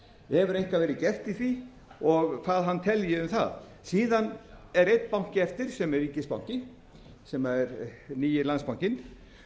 hefur eitthvað verið gert í því og hvað hann telji um það síðan er einn banki eftir sem er ríkisbanki sem er nýi landsbankinn